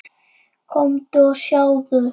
Komdu og sjáðu!